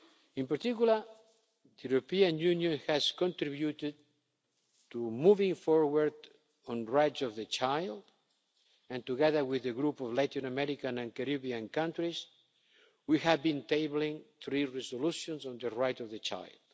In particular, the European Union has contributed to moving forward on rights of the child and, together with a group of Latin American and Caribbean countries, we have been tabling three resolutions on the right of the child.